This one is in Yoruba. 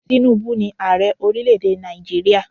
Tinubu ni Ààrẹ ọrílẹ̀ èdè Nàìjíríà.